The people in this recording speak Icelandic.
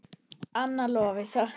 Anna Lovísa.